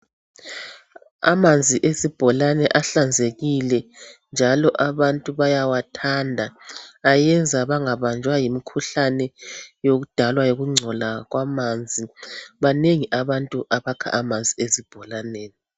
Amanzi esibholane ahlanzekile njalo abantu bayawathanda ayenza bangabanjwa yimukhuhlane yokudalwa yikungcola kwamanzi, banengi abantu abakha amanzi ezibholaneni.